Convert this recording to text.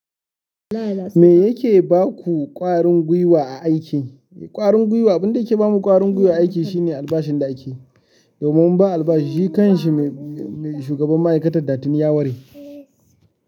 Me yake baku ƙwarin gwiwa a aiki? Ƙwarin gwiwa, abin da yake bamu ƙwarin gwiwa a aiki shine albashin da ake yi. Domin ba albashi shi kan shi mai shugaban ma'aikatar da tini ya ware.